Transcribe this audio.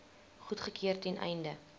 goedgekeur ten einde